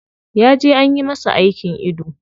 Ya je anyi masa aikin ido.